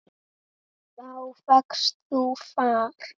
Þá fékkst þú far.